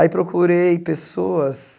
Aí procurei pessoas